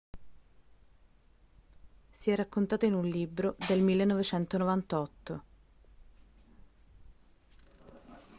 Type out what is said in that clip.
si è raccontato in un libro del 1998